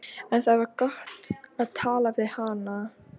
En það var gott að tala við hana.